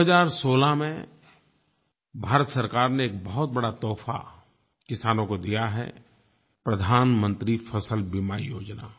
2016 में भारत सरकार ने एक बहुत बड़ा तोहफ़ा किसानों को दिया है प्रधानमंत्री फ़सल बीमा योजना